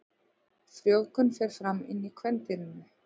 Frjóvgun fer fram inni í kvendýrinu.